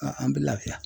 An bɛ lafiya